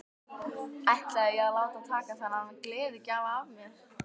Ætlaði ég að láta taka þennan gleðigjafa af mér?